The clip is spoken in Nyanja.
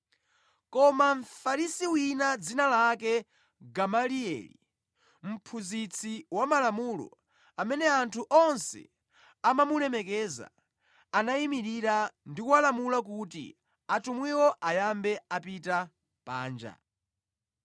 Koma Mfarisi wina dzina lake Gamalieli, mphunzitsi wa malamulo, amene anthu onse amamulemekeza, anayimirira ndi kulamula kuti atumwiwo ayambe apita panja.